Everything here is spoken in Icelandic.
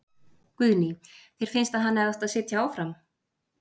Guðný: Þér finnst að hann hefði átt að sitja áfram?